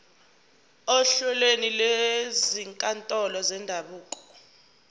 ohlelweni lwezinkantolo zendabuko